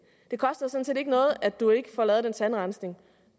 ikke får lavet den tandrensning